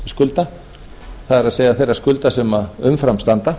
samningsskulda það er þeirra skulda sem umfram standa